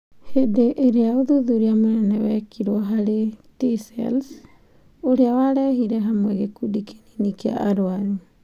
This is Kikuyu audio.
Hĩndĩ ĩrĩa ũthuthuria mũnene wekirwo harĩ 'T-cells' ũrĩa warehire hamwe gĩkundi kĩnini kĩa arwaru.